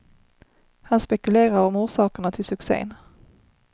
Han spekulerar om orsakerna till succen.